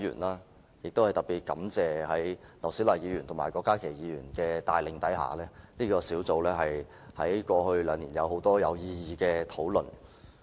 在前議員劉小麗及郭家麒議員的帶領下，這個小組委員會在過去兩年有很多有意義的討論。